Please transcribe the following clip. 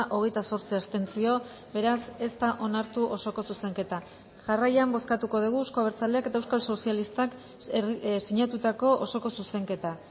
hogeita zortzi abstentzio beraz ez da onartu osoko zuzenketa jarraian bozkatuko dugu euzko abertzaleak eta euskal sozialistak zinatutako osoko zuzenketa